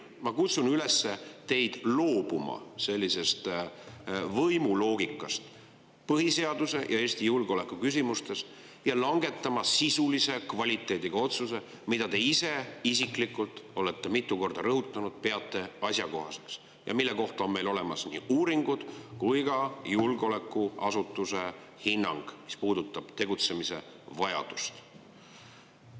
Ma kutsun teid üles loobuma sellisest võimuloogikast põhiseaduse ja Eesti julgeoleku küsimustes ja langetama sisulise kvaliteediga otsuse, mida te ise peate asjakohaseks, nagu te olete mitu korda rõhutanud, ja mille kohta on meil olemas nii uuringud kui ka julgeolekuasutuse hinnang, mis puudutab tegutsemise vajadust.